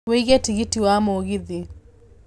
wiĩge tigiti wa mũgithi